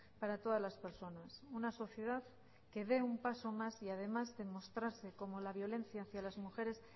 para todas las personas una sociedad que dé un paso más y además que mostrarse como la violencia hacia las mujeres